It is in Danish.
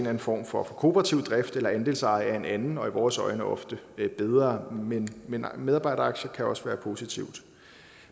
anden form for kooperativ drift eller andelseje er en anden og i vores øjne ofte bedre måde men men medarbejderaktier kan også være positivt